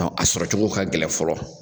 Ɔ a sɔrɔcogo ka gɛlɛn fɔlɔ